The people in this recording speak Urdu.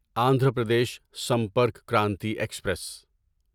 اندھرا پردیش سمپرک کرانتی ایکسپریس